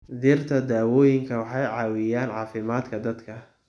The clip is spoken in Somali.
Dhirta dawooyinku waxay caawiyaan caafimaadka dadka.